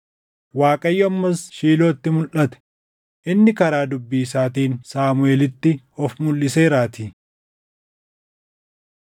Waaqayyo ammas Shiilootti mulʼate; inni karaa dubbii isaatiin Saamuʼeelitti of mulʼiseeraatii.